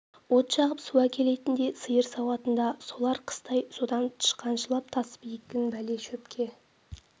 от жағып су әкелетін де сиыр сауатын да солар қыстай содан тышқаншылап тасып екң бала шөпке